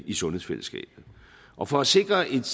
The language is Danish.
i sundhedsfællesskabet og for at sikre et